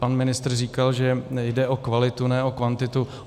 Pan ministr říkal, že jde o kvalitu, ne o kvantitu.